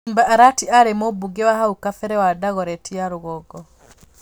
Simba Arati aarĩ Mũmbunge wa hau kabere wa Dagoretti ya rũgongo.